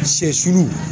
Sɛ sulu